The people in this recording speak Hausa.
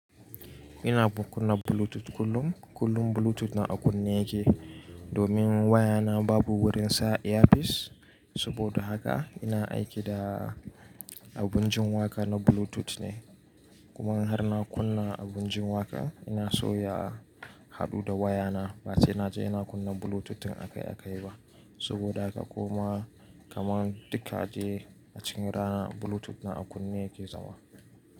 Ina kunna Bluetooth kullum, kullum Bluetooth na a kunne yake, domin waya na babu wurin sa earpiece. Saboda haka ina aiki da abun jin waƙa na Bluetooth ne. Kuma har na kunna abun jin waƙa ina soya a haɗu da waya na. Ba sai na ji ina kunna Bluetooth in a kai a kai ba. Saboda haka kuma kaman duka dai a cikin rana Bluetooth na a kunne yake zama.